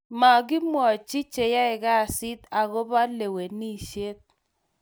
mokimwochi cheyai kazit agoba lewenishet